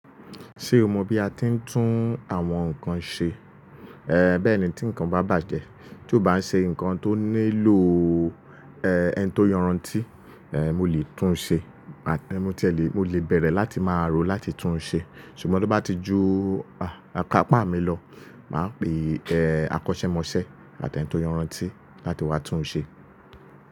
Ṣé o mọ bí a ti ń tún àwọn nǹkan ṣe? Ẹ̀n, bẹ́ẹ̀ ni tí nǹkan bá bàjẹ́, tí ó bá ń ṣe nǹkan tó nílò, ẹ́, ẹni tó yọran tíì, ẹ́, mo lè tún un ṣe. Mo ti e lè, mo lè bẹ̀rẹ̀ láti máa rò ó láti tún un ṣe. Ṣùgbọ́n tí ó bá ti ju ikapá mi lọ, màá pe e akọ́ṣẹ́mọṣẹ́ àti ẹni tó yọran tíì láti wá tún un ṣe.